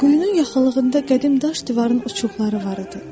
Quyunun yaxınlığında qədim daş divarın uçuqları var idi.